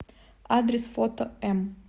адрес фото м